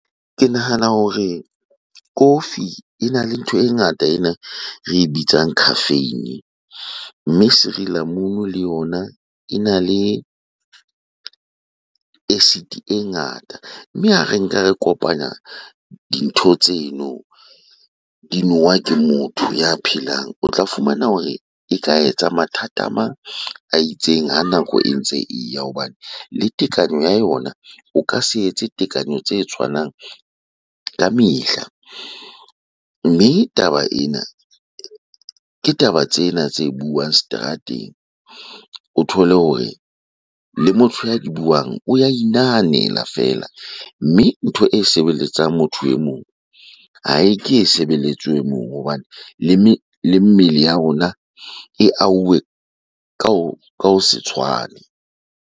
Ke nahana hore kofi ena le ntho e ngata ena re e bitsang caffeine mme sirilamunu le yona ena le acid-te e ngata. Mme ha re nka re kopanya dintho tseno di nowa ke motho ya phelang, o tla fumana hore e ka etsa mathata a mang a itseng ha nako e ntse e ya hobane le tekanyo ya yona o ka se etse tekanyo tse tshwanang ka mehla. Mme taba ena ke taba tsena tse buang seterateng, o thole hore le motho ya di buang o ya inahanela feela. Mme ntho e sebeletsang motho e mong, ha e ke e sebeletswe e mong hobane le le mmele ya rona e ahuwe ka ho, ka ho se tshwane.